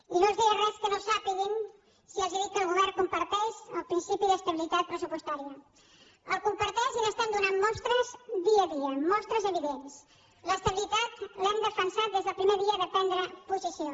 i no els diré res que no sàpiguen si els dic que el govern comparteix el principi d’estabilitat pressupostària el comparteix i n’estem donant mostres dia a dia mostres evidents l’estabilitat l’hem defensada des del primer dia de prendre posició